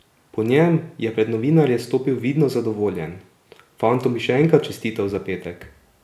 Po njem je pred novinarje stopil vidno zadovoljen: "Fantom bi še enkrat čestital za petek.